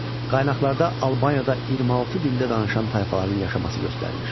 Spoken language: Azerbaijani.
Qaynaqlarda Albaniyada 26 dildə danışan tayfaların yaşaması göstərilir.